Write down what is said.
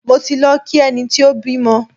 Mi ò tíì lọ kí ẹni tó bímọ.